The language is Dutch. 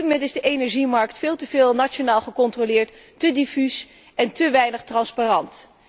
Op dit moment is de energiemarkt veel te veel nationaal gecontroleerd, te diffuus en te weinig transparant.